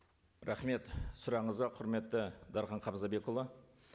рахмет сұрағыңызға құрметті дархан хамзабекұлы